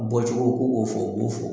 Bɔcogo k'u k'o fɔ , u b'o fɔ.